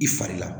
I fari la